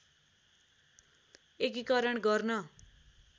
एकीकरण गर्न